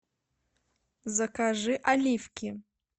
закажи оливки